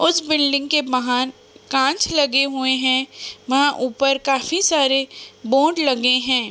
उस बिल्डिंग के बाहर कांच लगे हुए हैं वहाँ ऊपर काफी सारे बोर्ड लगे हैं ।